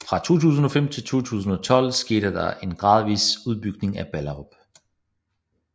Fra 2005 til 2012 skete der en gradvis udbygning i Ballerup